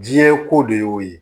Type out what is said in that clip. Diɲɛ ko de y'o ye